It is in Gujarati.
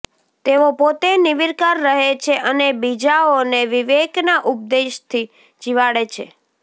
તેઓ પોતે નિર્વિકાર રહે છે અને બીજાઓને વિવેકના ઉપદેશથી જિવાડે છે